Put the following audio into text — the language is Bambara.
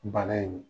Bana in